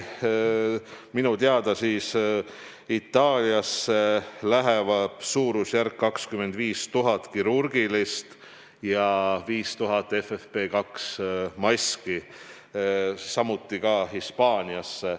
Minu teada Itaaliasse läheb suurusjärgus 25 000 kirurgilist ja 5000 FFP2 maski, samuti Hispaaniasse.